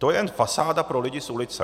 To je jen fasáda pro lidi z ulice.